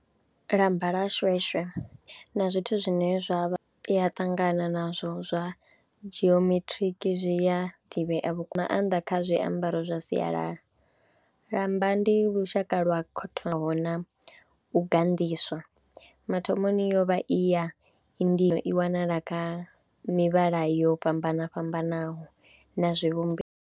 Lamba ḽa shweshwe na zwithu zwine zwa vha, u ya ṱangana nazwo zwa geometric zwi a ḓivhea vhukuma nga maanḓa kha zwiambaro zwa sialala. Lamba ndi lushaka lwa na u ganḓiswa mathomoni yo vha i ya indigo i wanala kha mivhala yo fhambana fhambanaho na zwivhumbeo.